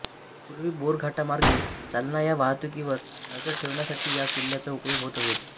पूर्वी बोरघाटामार्गे चालणाया वाहतुकीवर नजर ठेवण्यासाठी या किल्ल्याचा उपयोग होत असे